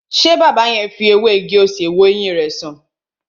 Ṣé baba yẹn fi ewé ewé igi-osè wo ẹyin rẹ san?